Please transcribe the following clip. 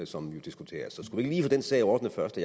som diskuteres så skulle vi den sag ordnet først